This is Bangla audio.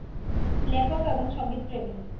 লেখক এবং সঙ্গীত প্রেমি